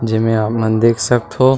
जेमे आपन देख सक थव।